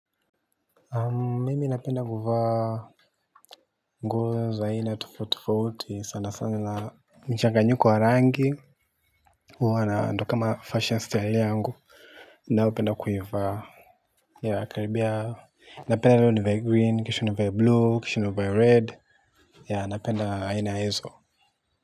Mimi napenda kuvaa nguo za aina tofauti tofauti sana sana ba michanganyiko ya rangi. Huwa ndio kama fashion style yangu. Naopenda kuivaa yakaribia. Napenda nivae green kisha nivae blue kisha nivae red, napenda aina hizo.